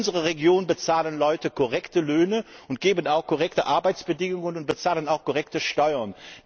In unserer Region bezahlen Leute korrekte Löhne, sorgen auch für korrekte Arbeitsbedingungen und bezahlen auch korrekte Steuern.